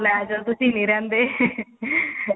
ਲੈਜੋ ਤੁਸੀਂ ਨਹੀ ਰਹਿੰਦੇ